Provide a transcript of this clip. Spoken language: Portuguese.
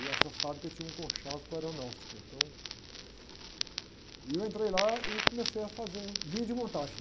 E essa fábrica tinha um conchave com aeronáutica, então... E eu entrei lá e comecei a fazer linha de montagem.